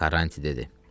Karranti dedi.